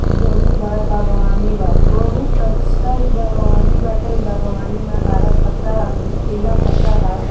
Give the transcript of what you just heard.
इ बहुत बड़ा बगवानी बा | बहुत अच्छा इ बागवानी बाटे | इ बगवानी में हरा पत्ता पीला पत्ता --